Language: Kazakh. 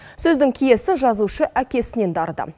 сөздің киесі жазушы әкесінен дарыды